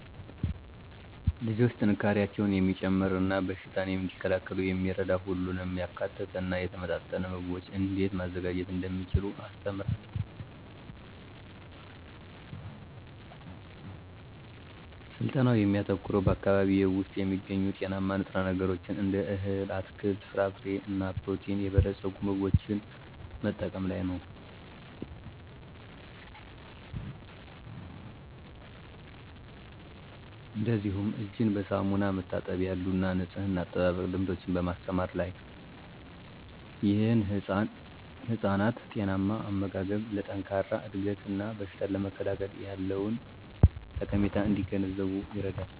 ልጆች ጥንካሬያቸውን የሚጨምር እና በሽታን እንዲከላከሉ የሚረዱ ሁሉንም ያካተተ እና የተመጣጠነ ምግቦችን እንዴት ማዘጋጀት እንደሚችሉ አስተምራለሁ። ስልጠናው የሚያተኩረው በአካባቢዬ ውስጥ የሚገኙ ጤናማ ንጥረ ነገሮችን እንደ እህል፣ አትክልት፣ ፍራፍሬ እና በፕሮቲን የበለጸጉ ምግቦችን መጠቀም ላይ ነው። እንዲሁም እንደ እጅን በሳሙና መታጠብ ያሉ የንፅህና አጠባበቅ ልምዶችን በማስተማር ላይ። ይህም ህፃናት ጤናማ አመጋገብ ለጠንካራ እድገት እና በሽታን ለመከላከል ያለውን ጠቀሜታ እንዲገነዘቡ ይረዳል።